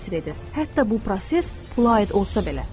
Hətta bu proses pula aid olsa belə.